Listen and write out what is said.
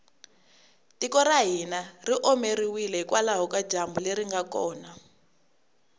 tiko ra hina ri omeriwile hikwalaho ka dyambu leri nga kona